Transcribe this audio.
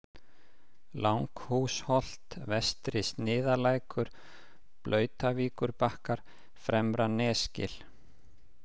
Langhúsholt, Vestri-Sniðalækur, Blautavíkurbakkar, Fremra-Nesgil